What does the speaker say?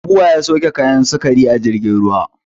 Bua ya sauke kayan sukari a jirgin ruwa